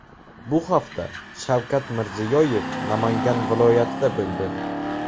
Bu hafta Shavkat Mirziyoyev Namangan viloyatida bo‘ldi.